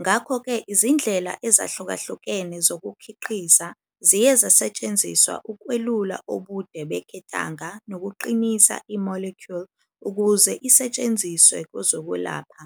ngakho-ke izindlela ezahlukahlukene zokukhiqiza ziye zasetshenziswa ukwelula ubude beketanga nokuqinisa i-molecule ukuze isetshenziswe kwezokwelapha.